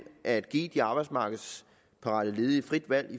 at give de arbejdsmarkedsparate ledige frit valg